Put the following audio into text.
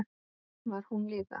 Var hún líka?